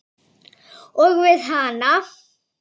Og við hana.